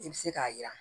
I bɛ se k'a jira